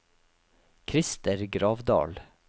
Christer Gravdal